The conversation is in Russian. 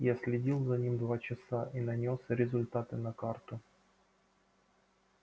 я следил за ним два часа и нанёс результаты на карту